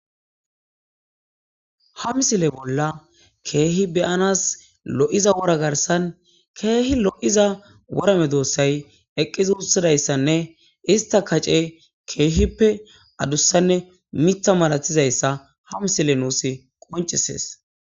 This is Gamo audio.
Haa missile bolla kihe be'anasi lo'iza wora garissanni kehi lo'iza wora medosayi eqidi uttidayissanne isitta kaaceyi kehippe adussanne miththa malatiyissa haa missileyi nusi qoniccisess.